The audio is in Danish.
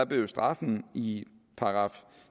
blev straffen i §